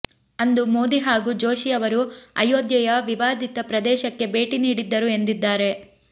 ಅಂದು ಮೋದಿ ಹಾಗೂ ಜೋಶಿಯವರು ಅಯೋಧ್ಯೆಯ ವಿವಾದಿತ ಪ್ರದೇಶಕ್ಕೆ ಭೇಟಿ ನೀಡಿದ್ದರು ಎಂದಿದ್ದಾರೆ